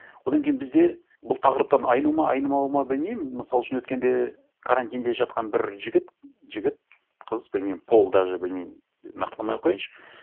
одан кейін бізде бұл тақырыптан айну ма айнымауы ма білмеймін мысал үшін өткенде карантинде жатқан бір жігіт жігіт қыз білмеймін пол даже білмеймін нақтыламай ақ қояйыншы